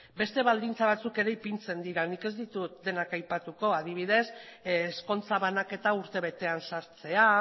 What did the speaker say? beste baldintza batzuk ere ipintzen dira nik ez ditut denak aipatuko adibidez ezkontza banaketa urtebetean sartzea